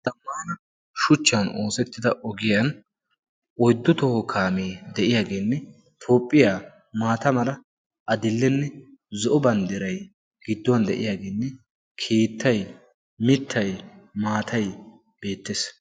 xammaana shuchchan oosettida ogiyan oiddu toho kaamee de7iyaageenne toophphiyaa maata mala adillenne zo7o banddirai gidduwan de7iyaageenne keettai mittai maatai beettees